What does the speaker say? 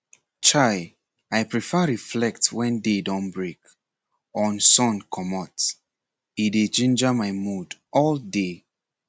chai i prefer reflect wen day don break on sun comot e dey ginger my mood all day